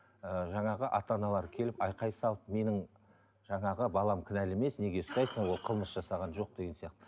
ыыы жаңағы ата аналар келіп айқай салып менің жаңағы балам кінәлі емес неге ұстайсың ол қылмыс жасаған жоқ деген сияқты